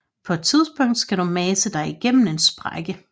På et tidspunkt skal du mase dig igennem en sprække